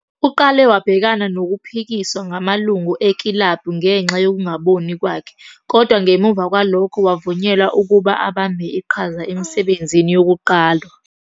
Uqale wabhekana nokuphikiswa ngamalungu ekilabhu ngenxa yokungaboni kwakhe, kodwa ngemuva kwalokho wavunyelwa ukuba abambe iqhaza emisebenzini yokuqwala.